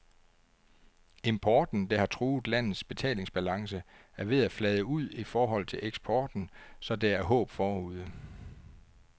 Importen, der har truet landets betalingsbalance, er ved at flade ud i forhold til eksporten, så der er håb forude.